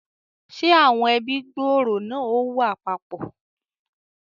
Ṣe awọn ẹbi gbooro náà ò wá papọ?